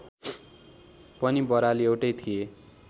पनि बराल एउटै थिए